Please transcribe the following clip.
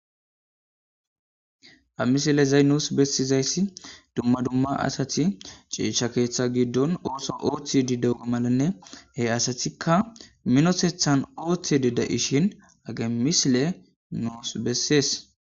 Ha misile zaynus bessizayssi dumma dumma asati ceesha keeththa giddon ooso ooththi di dewe malanne he asatikka minosethan ooththidi da'ishin age misile nuus bessees